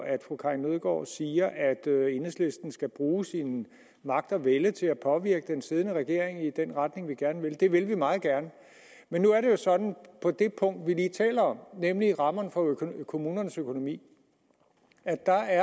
at fru karin nødgaard siger at enhedslisten skal bruge sin magt og vælde til at påvirke den siddende regering i den retning vi gerne vil det vil vi meget gerne men nu er det jo sådan at på det punkt vi lige taler om nemlig rammerne for kommunernes økonomi er der